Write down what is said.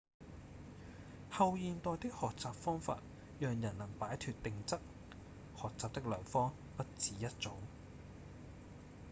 後現代的學習方法讓人能擺脫定則學習的良方不只一種